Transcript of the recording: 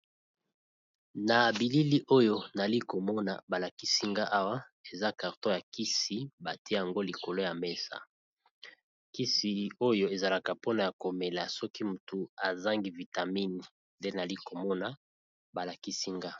Na bilili oyo nali komona ba lakisi nga awa eza carton ya kisi batie yango likolo ya mesa, kisi oyo ezalaka mpona ya komela soki motu azangi vitamine nde nali komona ba lakisi nga.